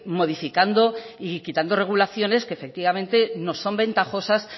modificando y quitando regulaciones que efectivamente no son ventajosas